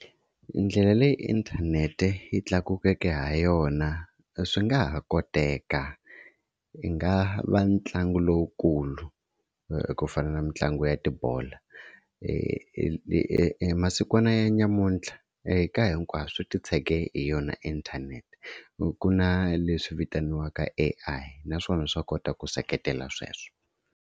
Ndlela leyi inthanete yi tlakukeke ha yona swi nga ha koteka i nga va ntlangu lowukulu kufana na mitlangu ya tibolo. Masikwana namuntlha ka hinkwaswo swi titshege hi yona inthanete ku na leswi vitaniwaka A_I naswona swa kota ku seketela sweswo.